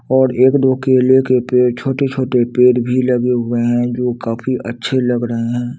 और एक-दो केले के पेड़ छोटे-छोटे पेड़ भी लगे हुए हैं जो काफी अच्छे लग ड़हे हैं।